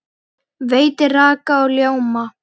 Veitir raka og ljóma.